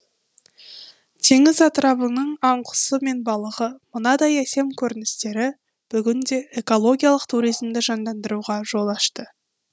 теңіз атырабының аң құсы мен балығы мынадай әсем көріністері бүгінде экологиялық туризмді жандандыруға жол ашты